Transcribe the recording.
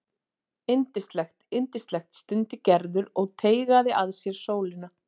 Yndislegt, yndislegt stundi Gerður og teygaði að sér sólina.